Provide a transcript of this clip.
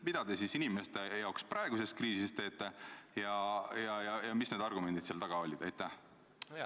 Mida te inimeste jaoks praeguses kriisis teete ja millised olid teie argumendid selliste otsuste tegemisel?